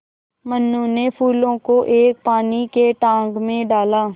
मनु ने फूलों को एक पानी के टांक मे डाला